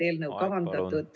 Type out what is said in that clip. Aeg, palun!